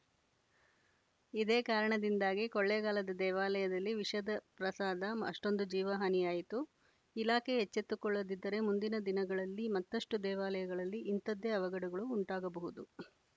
ಇದೇ ಕಾರಣದಿಂದಾಗಿ ಕೊಳ್ಳೆಗಾಲದ ದೇವಾಲಯದಲ್ಲಿ ವಿಷದ ಪ್ರಸಾದ ಅಷ್ಟೊಂದು ಜೀವಹಾನಿಯಾಯಿತು ಇಲಾಖೆ ಎಚ್ಚೆತ್ತುಕೊಳ್ಳದಿದ್ದರೆ ಮುಂದಿನ ದಿನಗಳಲ್ಲಿ ಮತ್ತಷ್ಟುದೇವಾಲಯಗಳಲ್ಲಿ ಇಂಥದ್ದೇ ಅವಘಡಗಳು ಉಂಟಾಗಬಹುದು